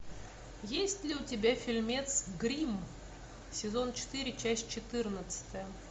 есть ли у тебя фильмец гримм сезон четыре часть четырнадцатая